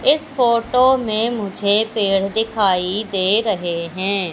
इस फोटो में मुझे पेड़ दिखाई दे रहे हैं।